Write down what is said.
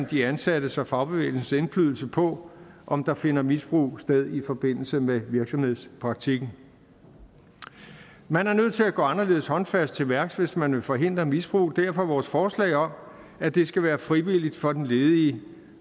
de ansattes og fagbevægelsens indflydelse på om der finder misbrug sted i forbindelse med virksomhedspraktikken man er nødt til at gå anderledes håndfast til værks hvis man vil forhindre misbrug derfor vores forslag om at det skal være frivilligt for den ledige